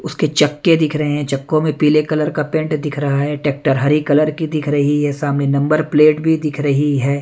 उसके चक्के दिख रहे हैं चक्कों में पीले कलर का पेंट दिख रहा है ट्रैक्टर हरी कलर की दिख रही है सामने नंबर प्लेट भी दिख रही है।